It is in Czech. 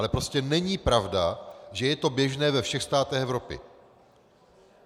Ale prostě není pravda, že je to běžné ve všech státech Evropy.